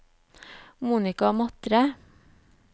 Monica Matre